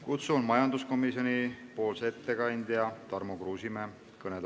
Kutsun kõnetooli majanduskomisjoni ettekandja Tarmo Kruusimäe.